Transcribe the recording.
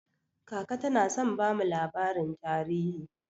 Kaka tana son bamu labarin tarihi.